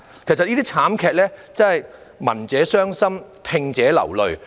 其實對於這些慘劇，真是聞者傷心、聽者流淚。